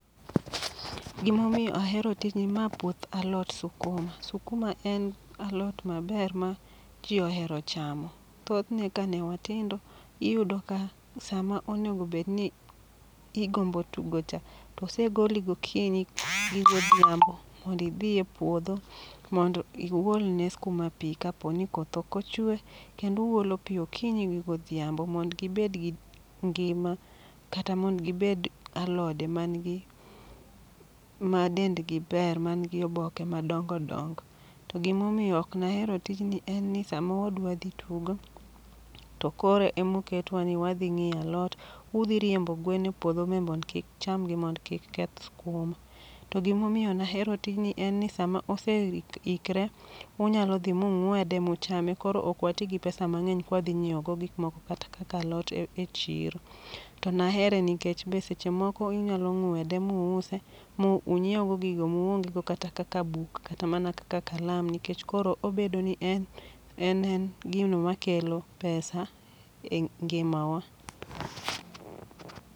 Gimomiyo ahero tijni, ma puoth alot sukuma. Sukuma en alot maber ma ji ohero chamo. Thothne ka ne watindo, iyudo ka sama onegobedni igombo tugo cha, osegoli gokinyi gi godhiambo mondi dhi e puodho. Mondo i uolne skuma pi kaponi koth oko chwe, kendu olo pi okinyi gi godhiambo mondo gibed gi ngima. Kata mondo gibed alode man gi ma dendgi ber man gi oboke madongo dongo. To gimomiyo ok nahero tijni en ni sama wadwa dhi tugo to koro emoketwa ni wadhi ng'iyo alot. Udhi riembo gwen e puodho me mondo kik cham gi mondo kik keth skuma. To gimomiyo nahero tijni en ni sama ose ikre, unyalo dhi mung'wede muchame. Koro ok wati gi pesa mang'eny kwadhi nyiewo go gikmoko kata kaka alot e chiro. To nahere nikech be seche moko unyalo ng'wede muuse, munyiew go gigo muonge go kata kaka buk kata mana kaka kalam. Nikech koro obedo ni en en en gino ma kelo pesa e ngima wa